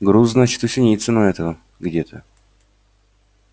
груз значит у синицына этого где-то